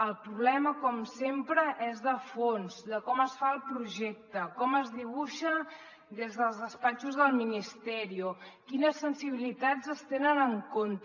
el problema com sempre és de fons de com es fa el projecte com es dibuixa des dels despatxos del ministerio quines sensibilitats es tenen en compte